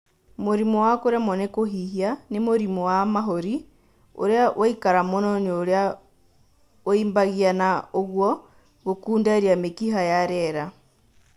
Mũrimũ wa kũremwo nĩ kũhihia nĩ mũrimũ wa mahũri ũrĩa ũikara mũno na ũrĩa ũimbagia na ũguo gũkunderia mĩkiha ya rĩera